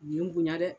U ye n bonya dɛ